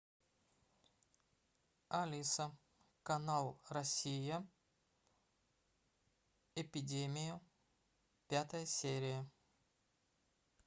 алиса канал россия эпидемия пятая серия